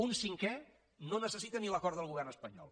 un cinquè no necessita ni l’acord del govern espanyol